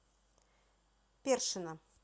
першина